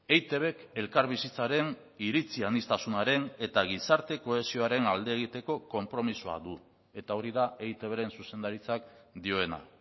eitbk elkarbizitzaren iritzi aniztasunaren eta gizarte kohesioaren alde egiteko konpromisoa du eta hori da eitbren zuzendaritzak dioena